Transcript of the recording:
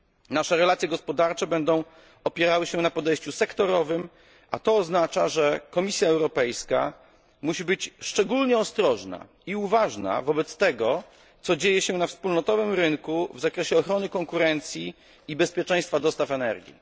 Nasze relacje gospodarcze będą opierały się na podejściu sektorowym, a to oznacza, że Komisja Europejska musi być szczególnie ostrożna i uważna wobec tego, co dzieje się na wspólnotowym rynku w zakresie ochrony konkurencji i bezpieczeństwa dostaw energii.